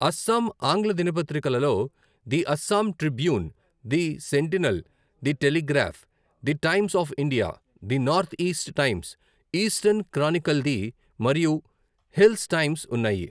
అస్సాం ఆంగ్ల దినపత్రికలలో the Assam Tribune, the Sentinel, the Telegraph, the Times of India, the North East Times, Eastern Chronicle the మరియు Hills Times ఉన్నాయి.